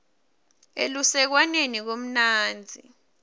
elusekwaneni kumnandzi